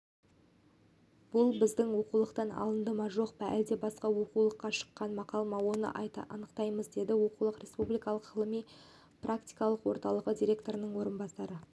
бұл біздің оқулықтан алынды ма жоқ әлде басқа оқулыққа шыққан мақал ма оны анықтаймыз деді оқулық республикалық ғылыми-практикалық орталығы директорының орынбасары